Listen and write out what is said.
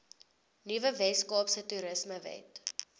nuwe weskaapse toerismewet